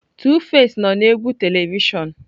Tuface nọ na egwu telivishọn.